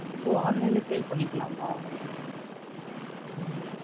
ஒ online லா sale பண்ணிக்கலாமா. உம்